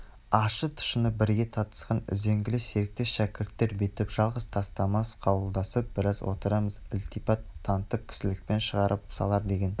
ащы-тұщыны бірге татысқан үзеңгілес серіктер шәкірттер бүйтіп жалғыз тастамас қауқылдасып біраз отырармыз ілтипат танытып кісілікпен шығарып салар деген